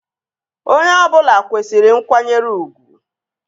Onye ọbụla kwesịrị nkwanyere ugwu